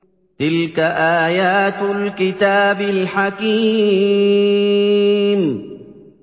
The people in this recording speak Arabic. تِلْكَ آيَاتُ الْكِتَابِ الْحَكِيمِ